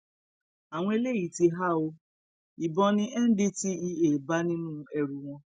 àwọn eléyìí ti há ọ ìbọn ni ndtea bá nínú ẹrù wọn